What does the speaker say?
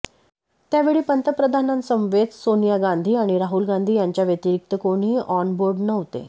त्यावेळी पंतप्रधानांसमवेत सोनिया गांधी आणि राहुल गांधी यांच्याव्यतिरिक्त कोणीही ऑन बोर्ड नव्हते